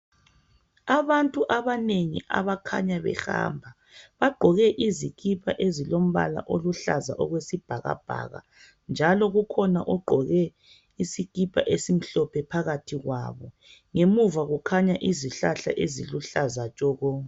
Abantu abanengi abakhanya behamba bagqoke izikipa ezilombala oluhlaza okwesibhakabhak njalo kukhona ogqoke isikipa esimhlophe phakathi kwabo ngemuva kukhanya izihlahla eziluhlaza tshoko